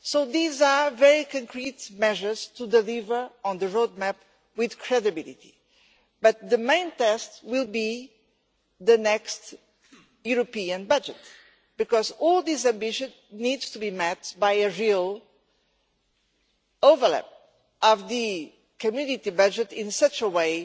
These are very concrete measures to deliver on the road map with credibility, but the main test will be the next European budget, because all this ambition needs to be matched by a real overhaul of the Community budget in a way